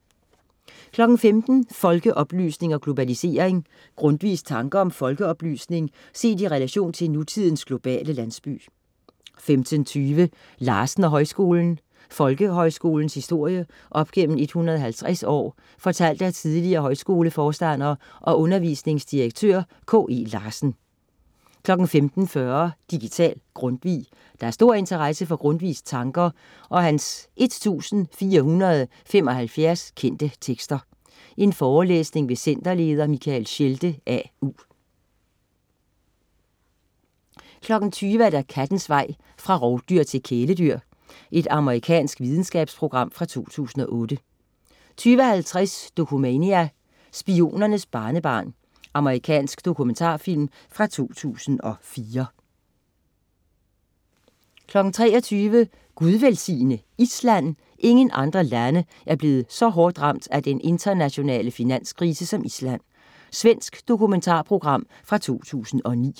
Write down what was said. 15.00 Folkeoplysning og globalisering. Grundtvigs tanker om folkeoplysning set i relation til nutidens globale landsby 15.20 Larsen og Højskolen. Folkehøjskolens historie op gennem 150 år fortalt af tidligere højskoleforstander og undervisningsdirektør K.E. Larsen 15.40 Digital Grundtvig. Der er stor interesse for Grundtvigs tanker og hans 1475 kendte tekster. Forelæsning ved centerleder Michael Schelde, AU 20.00 Kattens vej fra rovdyr til kæledyr. Amerikansk videnskabsprogram fra 2008 20.50 Dokumania: Spionernes barnebarn. Amerikansk dokumentarfilm fra 2004 23.00 Gud velsigne Island! Ingen andre lande er blevet så hårdt ramt af den internationale finanskrise som Island. Svensk dokumentarprogram fra 2009